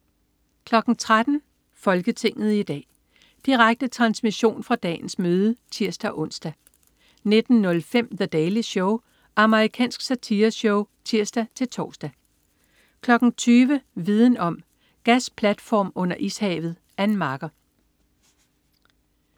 13.00 Folketinget i dag. Direkte transmission fra dagens møde (tirs-ons) 19.05 The Daily Show. Amerikansk satireshow (tirs-tors) 20.00 Viden om: Gasplatform under ishavet. Ann Marker